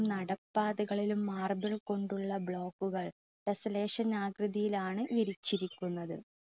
നടപ്പാതകളിലും marble കൊണ്ടുള്ള block കൾ ആകൃതിയിൽ ആണ് വിരിച്ചിരിക്കുന്നത്.